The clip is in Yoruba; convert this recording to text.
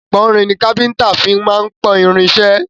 Ìpọ́nrin ni káfíńńtà fí máa ń pọ́n irin iṣẹ́.